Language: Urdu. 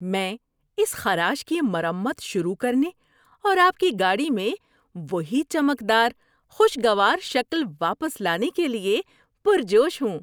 ‏میں اس خراش کی مرمت شروع کرنے اور آپ کی گاڑی میں وہی چمکدار، خوشگوار شکل واپس لانے کے لیے پرجوش ہوں!